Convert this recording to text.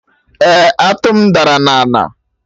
Eh, atụ m dara na ana